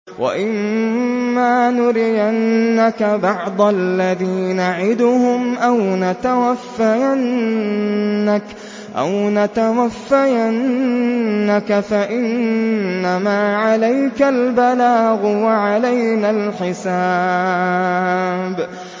وَإِن مَّا نُرِيَنَّكَ بَعْضَ الَّذِي نَعِدُهُمْ أَوْ نَتَوَفَّيَنَّكَ فَإِنَّمَا عَلَيْكَ الْبَلَاغُ وَعَلَيْنَا الْحِسَابُ